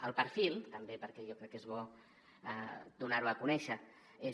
el perfil també perquè jo crec que és bo donar ho a conèixer és